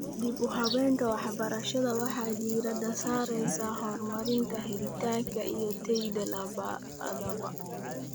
Dib-u-habaynta waxbarashada waxay diiradda saaraysaa horumarinta helitaanka iyo tayada labadaba.